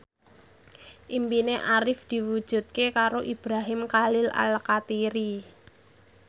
impine Arif diwujudke karo Ibrahim Khalil Alkatiri